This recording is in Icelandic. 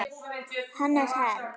Hannes Herm.